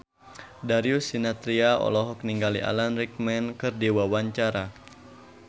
Darius Sinathrya olohok ningali Alan Rickman keur diwawancara